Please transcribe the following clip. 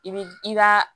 I bi i b'a